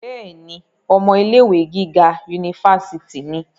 bẹ́ẹ̀ni, ọmọ ilé ìwé gíga unifásitì ni